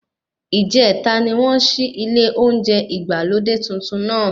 Ìjẹta ni wọ́n ṣí ilé oúnjẹ ìgbàlódé tuntun náà.